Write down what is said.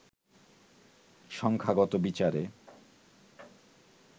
সংখ্যাগত বিচারে